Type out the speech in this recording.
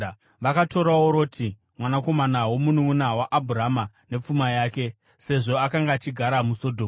Vakatorawo Roti mwanakomana womununʼuna waAbhurama nepfuma yake, sezvo akanga achigara muSodhomu.